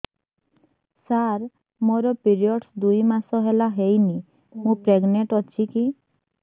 ସାର ମୋର ପିରୀଅଡ଼ସ ଦୁଇ ମାସ ହେଲା ହେଇନି ମୁ ପ୍ରେଗନାଂଟ ଅଛି କି